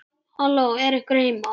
Halló, er einhver heima?